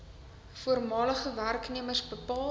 voormalige werknemers bepaal